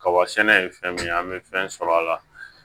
Kaba sɛnɛ ye fɛn min ye an bɛ fɛn sɔrɔ a la